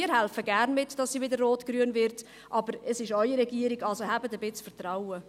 Wir helfen gerne mit, dass sie wieder rotgrün wird, aber es ist Ihre Regierung, also haben Sie ein bisschen Vertrauen.